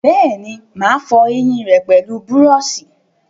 Bẹ́ẹ̀ni, mà á fọ ẹyìn rẹ pẹlú búrọ̀sì